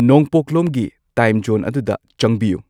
ꯅꯣꯡꯄꯣꯛ ꯂꯣꯝꯒꯤ time zone ꯑꯗꯨꯗ ꯆꯪꯕꯤꯌꯨ